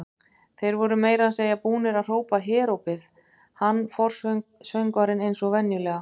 Þeir voru meira að segja búnir að hrópa herópið, hann forsöngvarinn eins og venjulega.